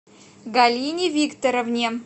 галине викторовне